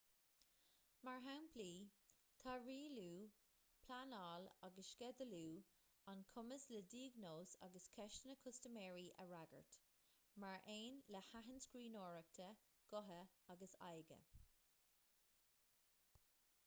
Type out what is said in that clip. mar shamplaí tá rialú pleanáil agus sceidealú an cumas le diagnóis agus ceisteanna custaiméirí a fhreagairt mar aon le haithint scríbhneoireachta gutha agus aghaidhe